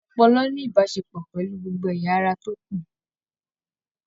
Ọpọlọ ní ìbáṣepọ̀ pẹlú gbogbo ẹyà ará tó kù.